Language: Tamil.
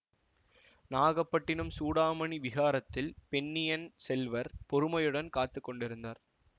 நாகப்பட்டினம் சூடாமணி விஹாரத்தில் பொன்னியின் செல்வர் பொறுமையுடன் காத்து கொண்டிருந்தார்